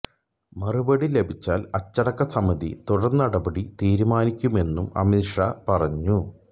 മറുപടി ലഭിച്ചാൽ അച്ചടക്ക സമിതി തുടർനടപടി തീരുമാനിക്കുമെന്നും അമിത് ഷാ പറഞ്ഞു